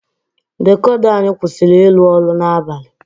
Dikoda anyị kwụsịrị ịrụ ọrụ n'abalị.